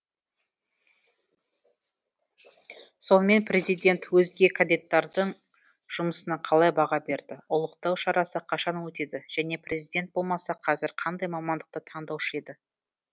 сонымен президент өзге кандидаттардың жұмысына қалай баға берді ұлықтау шарасы қашан өтеді және президент болмаса қазір қандай мамандықты таңдаушы еді